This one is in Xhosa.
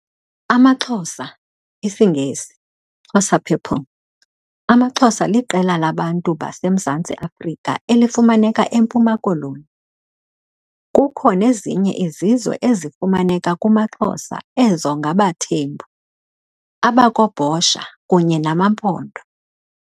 'AmaXhosa', isiNgesi - "Xhosa people" - AmaXhosa liqela labantu baseMzantsi Afrika elifumaneka eMpuma Koloni. Kukho nezinye izizwe ezifumaneka kumaXhosa ezo ngabaThembu, abakoBhosha kunye nama Mpondo.